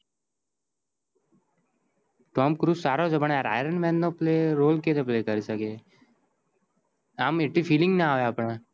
tom curse સારો છે પણ iron man નો role કેવી રીતે play કરી સકે આમ એટલી feeling ના આવે આપડાને